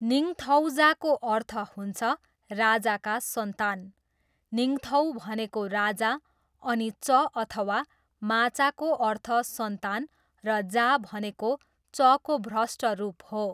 निङथौजाको अर्थ हुन्छ राजाका सन्तान, निङथौ भनेको राजा अनि च अथवा माचाको अर्थ सन्तान र जा भनेको चको भ्रष्ट रूप हो।